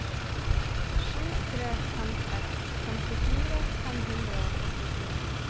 sju tre fem seks femtifire fem hundre og førtifire